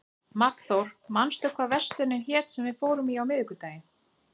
Magnþór, manstu hvað verslunin hét sem við fórum í á miðvikudaginn?